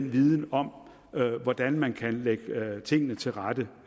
viden om hvordan man kan lægge tingene til rette